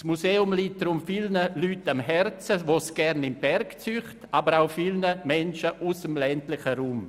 Das Museum liegt deshalb vielen Leuten am Herzen, die es in die Berge zieht, aber ebenso vielen Menschen aus dem ländlichen Raum.